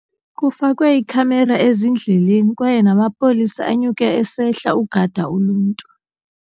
Kufakwe iikhamera ezindleleni kwaye namapolisa anyuke esehla ukugada uluntu.